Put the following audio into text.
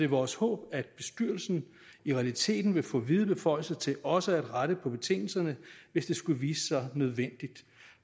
vores håb at bestyrelsen i realiteten vil få vide beføjelser til også at rette på betingelserne hvis det skulle vise sig nødvendigt